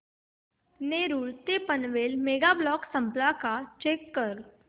नेरूळ ते Panvel mega block संपला का चेक कर